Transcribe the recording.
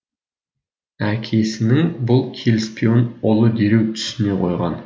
әкесінің бұл келіспеуін ұлы дереу түсіне қойған